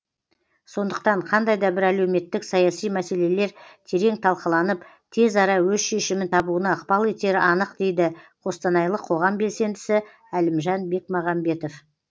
сондықтан қандай да бір әлеуметтік саяси мәселелер терең талқыланып тез ара өз шешімін табуына ықпал етері анық дейді қостанайлық қоғам белсендісі әлімжан бекмағамбетов